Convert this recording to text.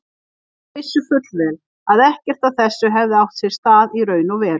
Þeir vissu fullvel að ekkert af þessu hefði átt sér stað í raun og veru.